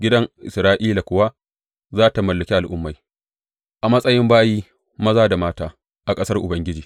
Gidan Isra’ila kuwa za tă mallaki al’ummai a matsayin bayi maza da mata a ƙasar Ubangiji.